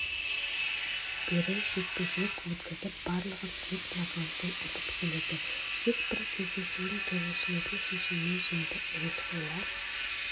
бері жекпе-жек өткізіп барлығын тек нокаутпен ұтып келеді тек бір кездесуін төрешілердің шешімімен жеңді әуесқойлар